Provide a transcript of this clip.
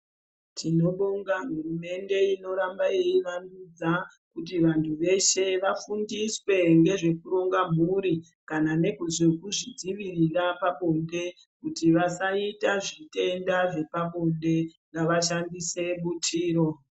Tinobonga hurumende inoramba yeivandudza kuti vantu veshe vafundiswe ngezvekuronga mhuri ,kana nezvekuzvidzivirira pabonde. Kuti vasaita zvitenda zvepabonde, ngavashandise butiro.